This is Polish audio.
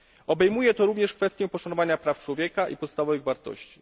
Obejmuje to również kwestię poszanowania praw człowieka i podstawowych wartości.